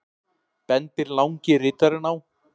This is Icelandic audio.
bendir langi ritarinn á.